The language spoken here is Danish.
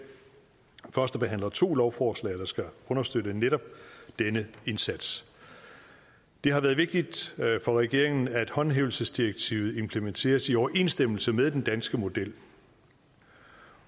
førstebehandler to lovforslag der skal understøtte netop denne indsats det har været vigtigt for regeringen at håndhævelsesdirektivet implementeres i overensstemmelse med den danske model